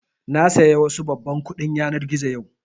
Na saya wasu babban kuɗin yanar gizo jiya